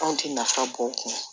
Anw tɛ nafa bɔ o kun